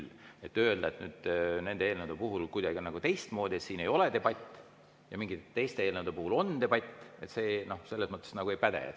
Nii et kui öelda, et nende eelnõude puhul on kuidagi teistmoodi, et siin ei ole debatti ja mingite teiste eelnõude puhul on debatt, siis see nagu ei päde.